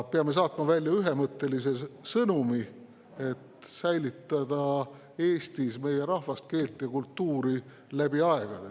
Peame saatma välja ühemõttelise sõnumi, et säilitada Eestis meie rahvast, keelt ja kultuuri läbi aegade.